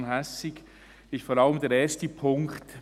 Bei der Motion Hässig ist vor allem der erste Punkt …